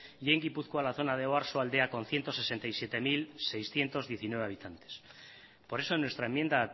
y en gipuzkoa la zona de oarsoaldea con ciento sesenta y siete mil seiscientos diecinueve habitantes por eso en nuestra enmienda